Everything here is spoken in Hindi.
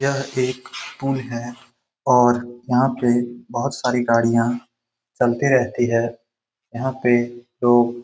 यह एक पुल है और यहाँ पे बहुत सारी गाड़ियाँ चलते रहती है। यहाँ पे लोग --